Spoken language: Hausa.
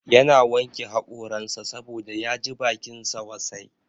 Ya na wanke hakoransa saboda ya ji bakinsa wasai